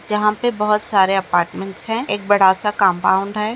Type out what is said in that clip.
यहा पे बहुत सारे अपार्टमेंन्ट्स है एक बड़ासा कम्पाउण्ड है।